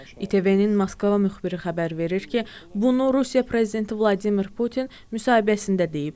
İTV-nin Moskva müxbiri xəbər verir ki, bunu Rusiya prezidenti Vladimir Putin müsahibəsində deyib.